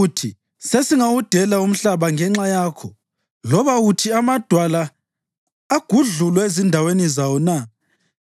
uthi sesingawudela umhlaba ngenxa yakho? Loba uthi amadwala agudlulwe ezindaweni zawo na?